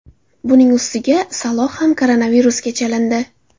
Buning ustiga Saloh ham koronavirusga chalindi.